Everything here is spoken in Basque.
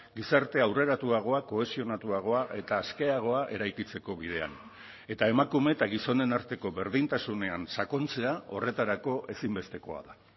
gizarte aurreratuagoak kohesionatuagoa eta askeagoa eraikitzeko bidean eta emakume eta gizonen arteko berdintasunean sakontzea horretarako ezinbestekoa da